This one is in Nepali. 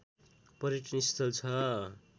पर्यटनस्थल छ